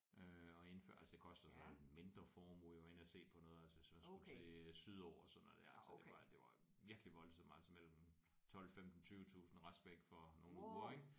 Øh og indført altså det koster så en mindre formue jeg var inde at se på noget altså hvis man skulle til øh sydover sådan noget der altså det var det var virkelig voldsomt altså mellem 12 15 20 tusind at rejse væk for nogle uger ik